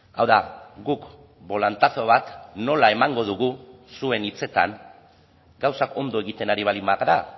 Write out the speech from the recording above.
hau da guk bolantazo bat nola emango dugu zuen hitzetan gauzak ondo egiten ari baldin bagara